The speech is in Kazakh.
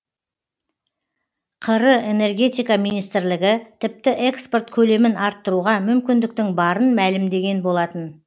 қр энергетика министрлігі тіпті экспорт көлемін арттыруға мүмкіндіктің барын мәлімдеген болатын